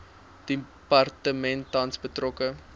departement tans betrokke